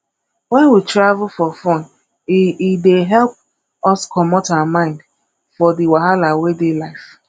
when we travel for fun e e dey help us comot our mind for di wahala wey dey life